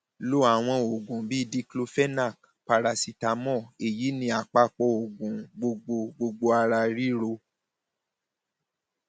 lo àwọn oògùn bíi diclophenac parasitamọọ èyí ni àpapọ oògùn gbogbo gbogbo ara ríro